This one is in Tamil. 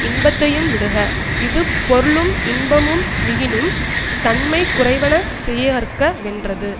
இன்பத்தையும் விடுக இது பொருளும் இன்பமும் மிகினும் தன்மை குறைவன செய்யற்க வென்றது